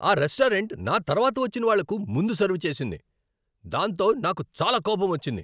ఆ రెస్టారెంట్ నా తర్వాత వచ్చిన వాళ్ళకు ముందు సర్వ్ చేసింది, దాంతో నాకు చాలా కోపమొచ్చింది.